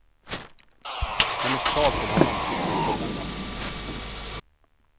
Hennes tal till honom tycktes fulländat.